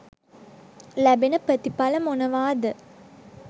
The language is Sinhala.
ලැබෙන ප්‍රතිඵල මොනවා ද